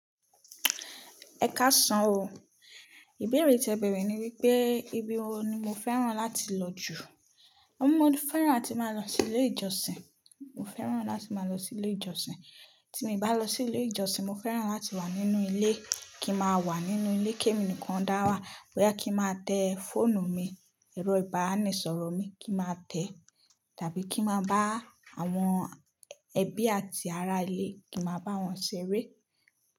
Ẹ ká san o. Ìbéèrè tí ẹ bèrè ni wípé ibi wo ni mo fẹ́ràn láti lọ jù. Ọmọ mí fẹ́ràn láti máa lọ sí ilé ìjọsìn. Mo fẹ́ràn láti máa lọ sí ilé ìjọsìn. Tí mo bá lọ sí ilé ìjọsìn, mo fẹ́ràn láti wà nínú ilé. Kí máa wà nínú ilé, ké mi nìkan dáwà, wáyé kí ma tẹ fónù mi, ẹ̀rọ ìbánisọ̀rọ̀ mi kí ma tẹ tàbí kí ma bá àwọn ẹbí àti ará ilé kí ma bá wọn ṣeré.